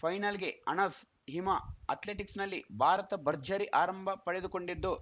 ಫೈನಲ್‌ಗೆ ಅಣಸ್‌ ಹಿಮಾ ಅಥ್ಲೆಟಿಕ್ಸ್‌ನಲ್ಲಿ ಭಾರತ ಭರ್ಜರಿ ಆರಂಭ ಪಡೆದುಕೊಂಡಿದ್ದು